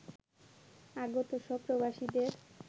আগত সব প্রবাসীদের